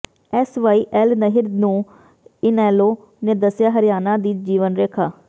S Y L ਨਹਿਰ ਨੂੰ ਇਨੈਲੋ ਨੇ ਦੱਸਿਆ ਹਰਿਆਣਾ ਦੀ ਜੀਵਨ ਰੇਖਾ